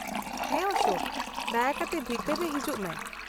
-ᱦᱮᱸ ᱚᱥᱳᱠ, ᱫᱟᱭᱟ ᱠᱟᱛᱮ ᱵᱷᱤᱛᱟᱹᱨ ᱛᱮ ᱦᱤᱡᱩᱜ ᱢᱮ ᱾